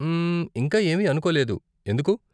మ్మ్, ఇంకా ఏమీ అనుకోలేదు, ఎందుకు?